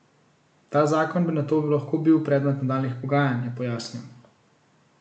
Ta zakon bi nato lahko bil predmet nadaljnjih pogajanj, je pojasnil.